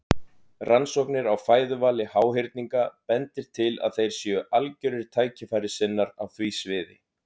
Rannsóknir á fæðuvali háhyrninga bendir til að þeir séu algjörir tækifærissinnar á því sviði.